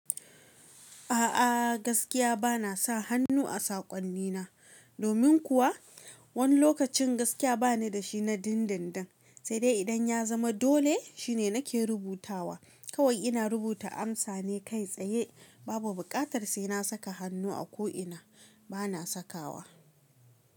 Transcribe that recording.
A'a gaskiya bana sa hannu a saƙonnina, domin kuwa wani lokacin gaskiya bani da shi na dindindin, sai dai idan ya zama dole shine nake rubutawa. Kawai ina rubuta amsa ne kai tsaye, babu bukatar sai na saka hannu a ko ina bana sakawa.